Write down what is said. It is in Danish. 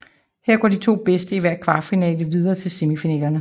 Her går de to bedste i hver kvartfinale videre til semifinalerne